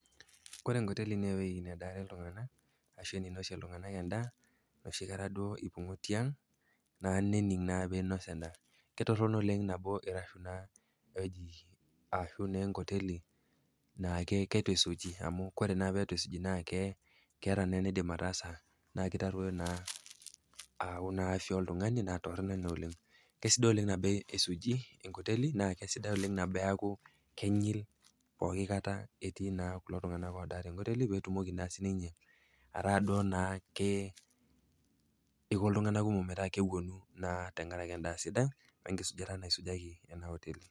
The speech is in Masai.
Kore enkoteli naa ewueji nedaare iltung'anak, arashu eneinosie iltung'anak en'daa enoshi kata eipang'ua tiang nening' peyie einos en'daa. Ketoronok enkoteli naake naa keitu eisuji amuu oore naaake peyie eitu esuji naa kesuuji keitadoyio naa afya oltung'ani naa toronok iina oleng. Kesidai oleng teneisuji enkoteli naa kaisidai oleng teniaku kenyil pooki kaata etii naa kulo tung'anak odaa tenkoteli, peyie etumoki naa aiko iltung'nak kmok metaa keponu naa tenkaraki en'daa sidai wenkisujata naisujaki en'da oteli.